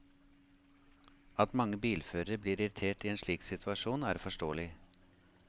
At mange bilførere blir irritert i en slik situasjon, er forståelig.